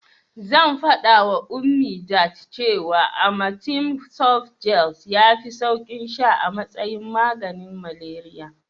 Zan faɗawa Ummi that cewa amatem softgel yafi saukin sha a matsayin maganin malariya.